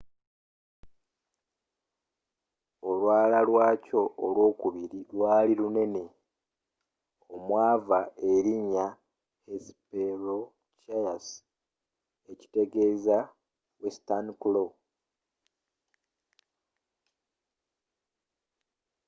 olwala lwakyo olwokubiri lwaali lunene omwava erinnya hesperonychus ekitegeeza western claw.